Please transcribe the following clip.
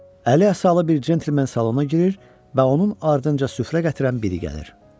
Əli əsalı bir centlmen salona girir və onun ardınca süfrə gətirən biri gəlir.